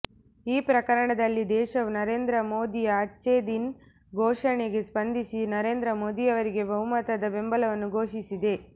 ಈ ಪ್ರಕರಣದಲ್ಲಿ ದೇಶವು ನರೇಂದ್ರ ಮೋದಿಯ ಅಚ್ಛೇದಿನ್ ಘೋಷಣೆಗೆ ಸ್ಪಂದಿಸಿ ನರೇಂದ್ರ ಮೋದಿಯವರಿಗೆ ಬಹುಮತದ ಬೆಂಬಲವನ್ನು ಘೋಷಿಸಿದೆ